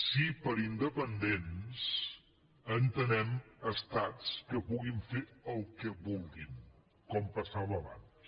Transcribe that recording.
si per independents entenem estats que puguin fer el que vulguin com passava abans